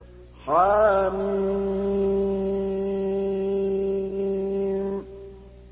حم